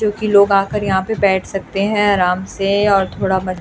क्योंकि लोग आकर यहां पर बैठ सकते हैं आराम से और थोड़ा म --